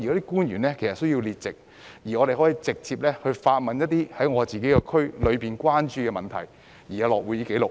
官員需要列席會議，讓區議員可以就區內關注的問題直接提問，而且會有會議紀錄。